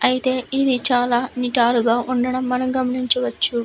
అయితే ఇది చాలా నిటారుగా ఉండడము మనం గమనించవచ్చు.